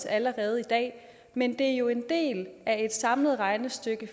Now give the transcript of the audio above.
allerede i dag men det er jo en del af et samlet regnestykke